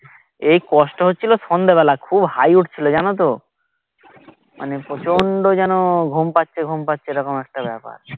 এই কষ্ট হচ্ছিলো সন্ধেবেলা খুব হাই উঠছিলো জানোতো মানে প্রচন্ড যেন ঘুম পাচ্ছে ঘুম পাচ্ছে এরকম একটা ব্যাপার